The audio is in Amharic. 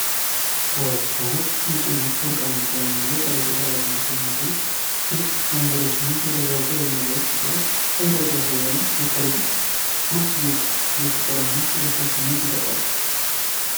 ዋው ሲያምር! ነጭና ወርቃማ ቀለም ያለው ጠረጴዛ በጣም አስደናቂ ነው። ግልጽ ወንበሮችና የደረቁ የዘንባባ ቅጠሎች ቅንጦትን ያሳያሉ። የሰርጉ ማስጌጥ የፍቅር እና ደስ የሚል ስሜት ይፈጥራል።